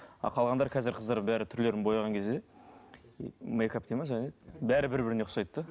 а қалғандары қазір қыздар бәрі түрлерін бояған кезде м мейкап дейді ме жаңа не еді бәрі бір бірлеріне ұқсайды да